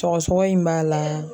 Sɔgɔsɔgɔ in b'a la.